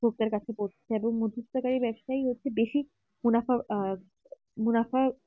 ভোক্তার কাছে পড়ছে এবং মদ্ধস্তকারী ব্যাপসই হচ্ছে বেশি মুনাফা আহ মুনাফা